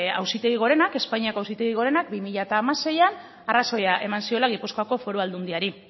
auzitegi gorenak espainiako auzitegi gorenak bi mila seian arrazoia eman ziola gipuzkoa foru aldundiari